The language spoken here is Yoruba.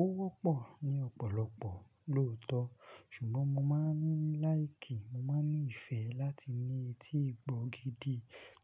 ó wọ́pọ̀ ní ọ̀pọ̀lọpọ̀ lóòótọ́, ṣùgbọ́n mo máa ń like, mo máa ń ní ìfẹ́ láti ní etí ìgbọ́ gidi